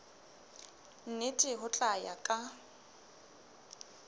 mme ho tla ya ka